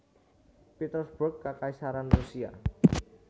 Petersburg Kakaisaran Rusia